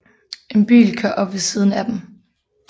En bil kører op ved siden af dem